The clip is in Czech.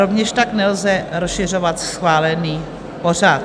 Rovněž tak nelze rozšiřovat schválený pořad.